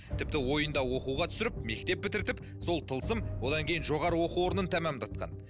тіпті ойында оқуға түсіріп мектеп бітіртіп сол тылсым одан кейін жоғарғы оқу орнын тәмәмдатқан